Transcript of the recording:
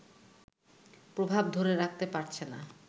প্রভাব ধরে রাখতে পারছে না